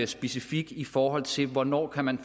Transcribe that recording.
specifik i forhold til hvornår man